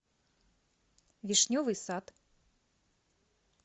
вишневый сад